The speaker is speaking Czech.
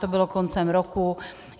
To bylo koncem roku.